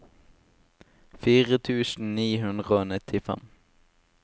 fire tusen ni hundre og nittifem